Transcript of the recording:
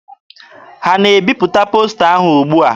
Ha na-ebipụta posta ahụ ugbua?